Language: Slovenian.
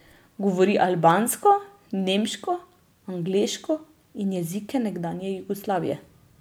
Govori albansko, nemško, angleško in jezike nekdanje Jugoslavije.